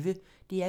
DR P1